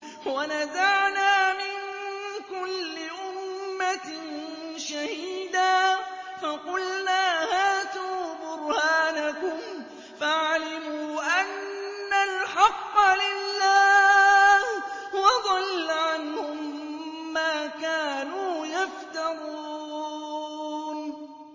وَنَزَعْنَا مِن كُلِّ أُمَّةٍ شَهِيدًا فَقُلْنَا هَاتُوا بُرْهَانَكُمْ فَعَلِمُوا أَنَّ الْحَقَّ لِلَّهِ وَضَلَّ عَنْهُم مَّا كَانُوا يَفْتَرُونَ